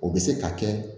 O bɛ se ka kɛ